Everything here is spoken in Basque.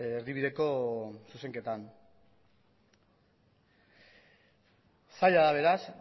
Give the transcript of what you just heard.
erdibideko zuzenketan zaila da beraz